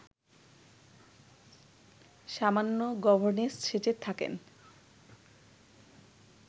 সামান্য গভর্নেস সেজে থাকেন